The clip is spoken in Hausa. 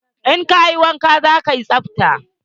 In kayi wanka, za kayi tsabta.